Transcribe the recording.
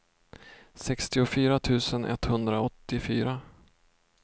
sextiofyra tusen etthundraåttiofyra